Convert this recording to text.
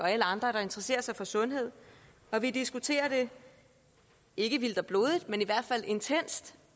alle andre der interesserer sig for sundhed vi diskuterer det ikke vildt og blodigt men i hvert fald intenst